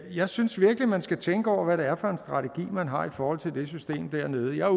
jeg synes virkelig man skal tænke over hvad det er for en strategi man har i forhold til det system dernede jeg er